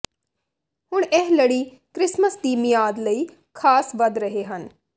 ਹੁਣ ਇਹ ਲੜੀ ਕ੍ਰਿਸਮਸ ਦੀ ਮਿਆਦ ਲਈ ਖਾਸ ਵਧ ਰਹੇ ਹਨ